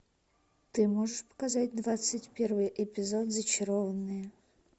ты можешь показать двадцать первый эпизод зачарованные